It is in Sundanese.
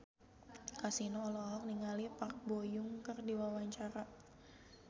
Kasino olohok ningali Park Bo Yung keur diwawancara